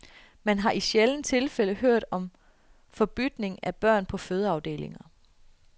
Man har i sjældne tilfælde hørt om forbytning af børn på fødeafdelinger.